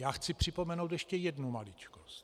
Já chci připomenout ještě jednu maličkost.